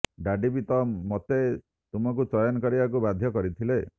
daddy ବି ତ ମୋତେ ତୁମକୁ ଚୟନ କରିବାକୁ ବାଧ୍ୟ କରିଥିଲେ